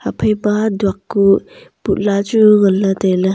phaipa duak kuh putla chu nganley tailey.